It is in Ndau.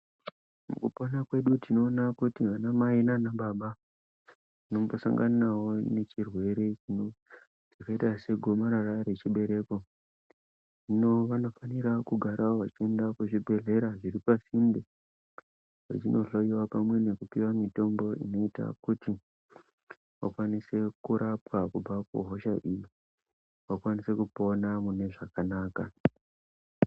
Kupona kwedu tinoona kuti vana mai nana baba vanosanganawo nechirwere chakaita segomarara rechibereko, hino vanofanirwa kugara vechienda kuzvibhedhlera zviri pasinde vechinohloyiwa pamwe nekupiwa mutombo unoita kuti vakwanise kurapwa kubva kuhosha idzi, vakwanise kupona mune zvakanaka.